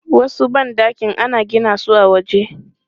Wasu ban ɗakin ana gina su a waje.